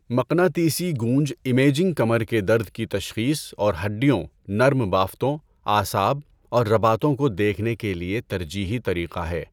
مقناطیسی گونج امیجنگ کمر کے درد کی تشخیص اور ہڈیوں، نرم بافتوں، اعصاب اور رباطوں کو دیکھنے کے لیے ترجیحی طریقہ ہے۔